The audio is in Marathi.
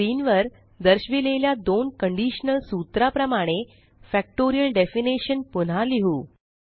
आणि स्क्रीन वर दर्शविलेल्या दोन कंडीशनल सूत्रा प्रमाणे फॅक्टोरियल डेफिनिशन पुन्हा लिहु